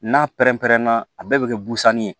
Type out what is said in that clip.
N'a pɛrɛn-pɛrɛnna a bɛɛ bɛ kɛ busanni ye